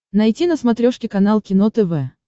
найти на смотрешке канал кино тв